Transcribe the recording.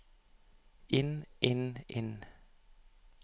inn inn inn